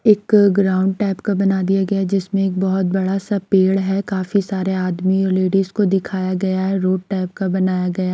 एक ground type का बना दिया गया जिसमें एक बोहोत बड़ा सा पेड़ है काफी सारे आदमी और लेडिस को दिखाया गया है रोड टाइप का बनाया गया।